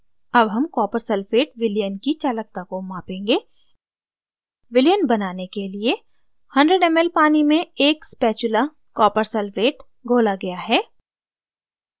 अब हम copper sulphate विलयन की चालकता को मापेंगे विलयन बनाने के लिए 100 ml पानी में एक spatula copper sulphate घोला गया है